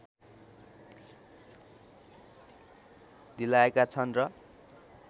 दिलायका छन् र